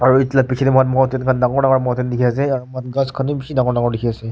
aru etu laga piche te mountent khan dangor dangor mountent aru mountent khan te ghass bishi dekhi ase.